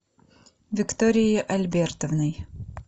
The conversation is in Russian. викторией альбертовной